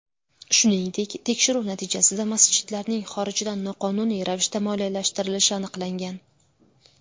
Shuningdek, tekshiruv natijasida masjidlarning xorijdan noqonuniy ravishda moliyalashtirilishi aniqlangan.